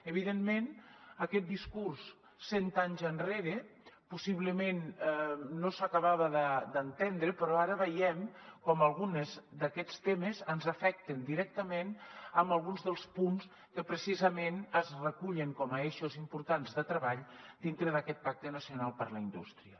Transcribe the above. evidentment aquest discurs cent anys enrere possiblement no s’acabava d’entendre però ara veiem com alguns d’aquests temes ens afecten directament en alguns dels punts que precisament es recullen com a eixos importants de treball dintre d’aquest pacte nacional per a la indústria